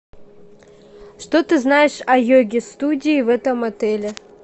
что ты знаешь о йоге студии в этом отеле